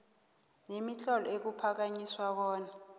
nemitlolo ekuphakanyiswa bona